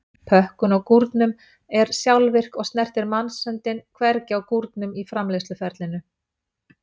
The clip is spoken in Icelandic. Pökkun á gúrnum er sjálfvirk og snertir mannshöndin hvergi á gúrnum í framleiðsluferlinu.